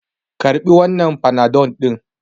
Karɓi wannan panadol ɗin!